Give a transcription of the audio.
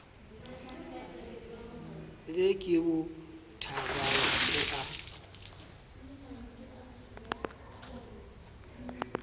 le ke bothabang o a